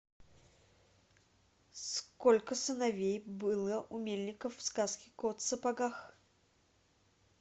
сколько сыновей было у мельника в сказке кот в сапогах